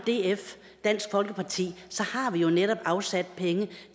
dansk folkeparti har vi jo netop afsat penge